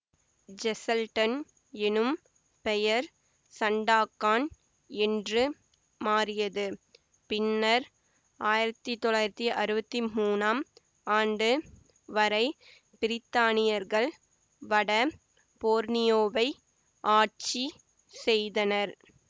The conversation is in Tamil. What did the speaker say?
ஜெசல்டன் எனும் பெயர் சண்டாக்கான் என்று மாறியது பின்னர் ஆயிரத்தி தொள்ளாயிரத்தி அறுவத்தி மூனாம் ஆண்டு வரை பிரித்தானியர்கள் வட போர்னியோவை ஆட்சி செய்தனர்